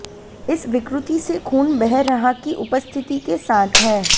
इस विकृति से खून बह रहा की उपस्थिति के साथ है